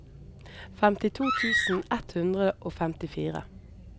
femtito tusen ett hundre og femtifire